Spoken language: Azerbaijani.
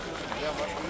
Yaxşı, yoxdur.